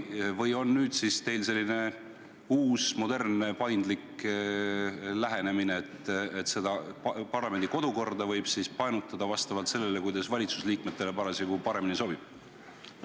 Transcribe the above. Kas nüüd on teil selline uus, modernne ja paindlik lähenemine, mille korral parlamendi kodukorda võib painutada vastavalt sellele, kuidas valitsuse liikmetele parasjagu paremini sobib?